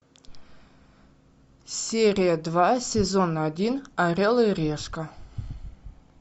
серия два сезон один орел и решка